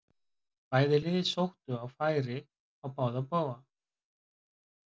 Bæði lið sóttu og færi á báða bóga.